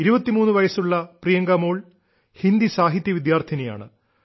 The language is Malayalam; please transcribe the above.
23 വയസ്സുള്ള പ്രിയങ്കാ മോൾ ഹിന്ദി സാഹിത്യ വിദ്യാർത്ഥിനിയാണ്